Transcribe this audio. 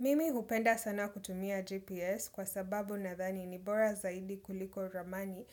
Mimi hupenda sana kutumia GPS kwa sababu nadhani ni bora zaidi kuliko ramani